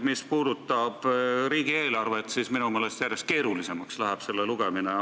Mis puudutab riigieelarvet, siis selle lugemine läheb minu meelest järjest keerulisemaks.